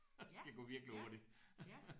Ja ja ja